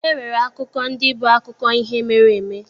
E nwere akụkọ ndị bụ akụkọ ihe mere eme.